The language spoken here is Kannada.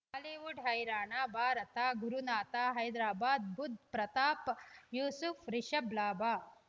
ಬಾಲಿವುಡ್ ಹೈರಾಣ ಭಾರತ ಗುರುನಾಥ ಹೈದರಾಬಾದ್ ಬುಧ್ ಪ್ರತಾಪ್ ಯೂಸುಫ್ ರಿಷಬ್ ಲಾಭ